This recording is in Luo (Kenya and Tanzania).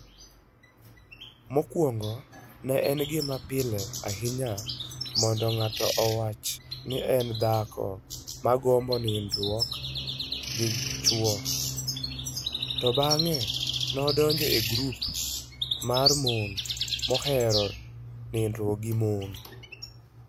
Mokwongo, ne en gima pile ahinya mondo ng'ato owach ni en dhako ma gombo nindruok gi chwo, to bang'e ne odonjo e grup mar mon mohero nindruok gi mon.